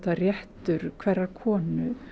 réttur hverrar konu